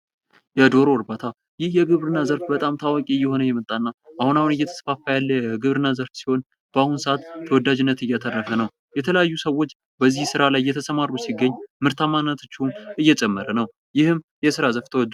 የዶሮ እርባታ ። ይህ የግብርና ዘርፍ በጣም ታዋቂ እየሆነ የመጣ እና አሁን አሁን እየተስፋፋ ያለ የግብርና ዘርፍ ሲሆን በአሁን ሰዓት ተወደጅነትን እያተረፈ ነው ። የተለያዩ ሰዎች በዚህ ስራ ላይ እየተሰማሩ ሲገኝ ምርታማነታቸውም እየጨመረ ነው ። ይህም የስራ ዘርፍ ተወዳጅ ።